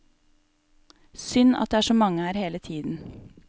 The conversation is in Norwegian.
Synd at det er så mange her hele tiden.